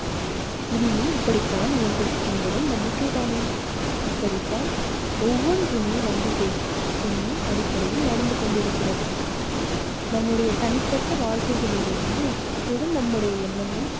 இனியும் இப்படித்தான் இயங்கும் என்பதும் நம்பிக்கை தானே இப்படித்தான் ஒவ்வொன்றுமே நம்பிக்கை என்னும் அடிப்படையில் நடந்து கொண்டிருக்கிறது. நம்முடைய தனிப்பட்ட வாழ்க்கைகளில் இருந்து கூட நம்முடைய எண்ணங்கள்